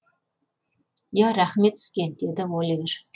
иә рахмет сізге деді оливер